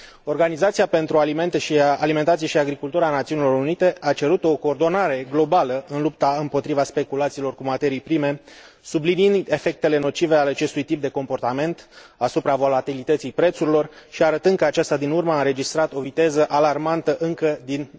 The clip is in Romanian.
Organizația pentru Alimentație și Agricultură a Națiunilor Unite a cerut o coordonare globală în lupta împotriva speculațiilor cu materii prime, subliniind efectele nocive ale acestui tip de comportament asupra volatilității prețurilor și arătând că aceasta din urmă a înregistrat o viteză alarmantă încă din